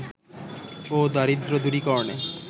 ও দারিদ্র দূরীকরণে